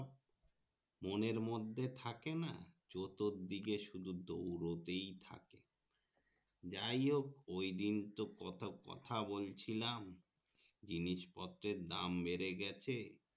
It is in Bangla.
মনের মধ্যে থাকেনা চতুর দিকে সুদু দৌড়োতেই থাকে যাই হোক দিন তো কত কথা বলছিলাম জিনিসপত্রের দাম বেড়ে গেছে